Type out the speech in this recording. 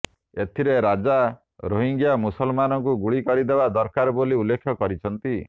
ଏଥିରେ ରଜା ରୋହିଙ୍ଗ୍ୟା ମୁସଲମାନଙ୍କୁ ଗୁଳିକରିଦେବା ଦରକାର ବୋଲି ଉଲ୍ଲେଖ କରିଛନ୍ତି